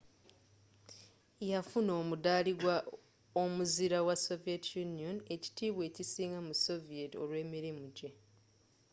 yafuna omuddaali ggwa omuzira wa sovie union” ekitiibwa ekisinga mu soviet olw’emirimu jje